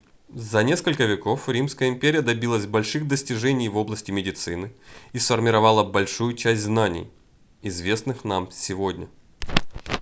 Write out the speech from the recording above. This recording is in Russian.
за несколько веков римская империя добилась больших достижений в области медицины и сформировала большую часть знаний известных нам сегодня